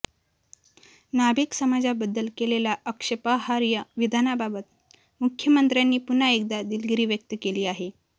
नाभिक समाजाबद्दल केलेल्या आक्षेपार्ह विधानाबाबत मुख्यमंत्र्यांनी पुन्हा एकदा दिलगिरी व्यक्त केली आहे